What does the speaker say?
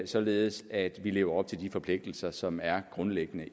således at vi lever op til de forpligtelser som er grundlæggende